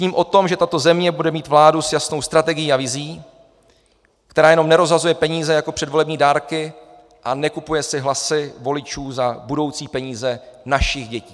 Sním o tom, že tato země bude mít vládu s jasnou strategií a vizí, která jenom nerozhazuje peníze jako předvolební dárky a nekupuje si hlasy voličů za budoucí peníze našich dětí.